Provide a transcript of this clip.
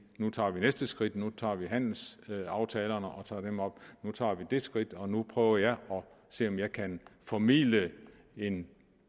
nu tager vi næste skridt nu tager vi handelsaftalerne op nu tager vi det skridt og nu prøver jeg at se om jeg kan formidle en